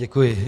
Děkuji.